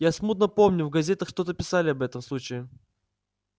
я смутно помню в газетах что-то писали об этом случае